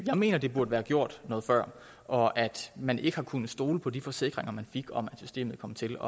jeg mener at det burde være gjort noget før og at man ikke har kunnet stole på de forsikringer man fik om at systemet kom til